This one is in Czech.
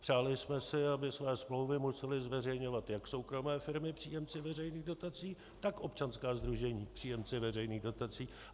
Přáli jsme si, aby své smlouvy musely zveřejňovat jak soukromé firmy - příjemci veřejných dotací, tak občanská sdružení - příjemci veřejných dotací.